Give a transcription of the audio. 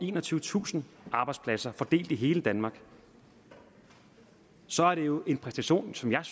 enogtyvetusind arbejdspladser fordelt i hele danmark så er det jo en præstation som jeg er